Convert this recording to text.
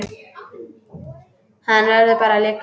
Hann verður bara að liggja.